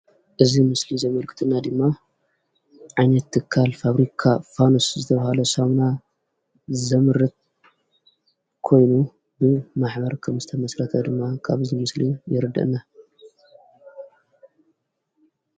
እዚ ምስሊ ዘምልከተና ድማ ዓይነት ትካል ፋብሪካ ፋኑስ ዝተብሃለ ሳሙና ዘምርት ኾይኑ ብማሕበር ከም ዝተመስረተ ድም ካብ ዚ ምስሊ የርድኣና።